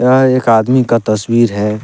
यह एक आदमी का तस्वीर है।